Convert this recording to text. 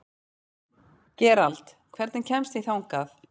Gerald, hvernig kemst ég þangað?